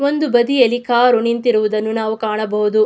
ಒಂದು ಬದಿಯಲ್ಲಿ ಕಾರು ನಿಂತಿರುವುದನ್ನು ನಾವು ಕಾಣಬಹುದು.